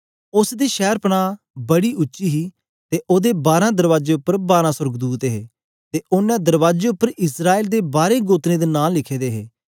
उस्स दी शैरपनाह बड़ी उच्ची हे ते ओदे बारां दरबाजे उपर बारां सोर्गदूत हे ते ओनें दरबाजे उपर इस्राएल दे बारें गोत्रें दे नां लिखे दे हे